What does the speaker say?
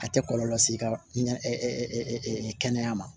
A tɛ kɔlɔlɔ lase i ka kɛnɛya ma